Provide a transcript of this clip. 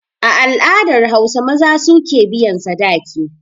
A al'adar Hausa, maza su ke biyan sadaki.